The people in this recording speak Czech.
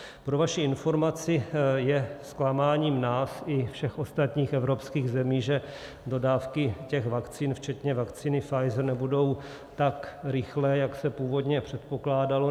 Pro vaši informaci, je zklamáním nás i všech ostatních evropských zemí, že dodávky těch vakcín, včetně vakcíny Pfizer, nebudou tak rychlé, jak se původně předpokládalo.